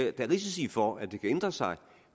er risici for at det kan ændre sig